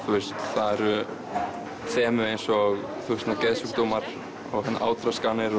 það eru þemu eins og geðsjúkdómar átraskanir